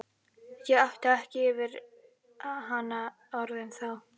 Ég átti ekki yfir hana orðin þá.